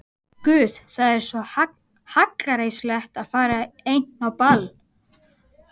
Guð, það er svo hallærislegt að fara ein á ball.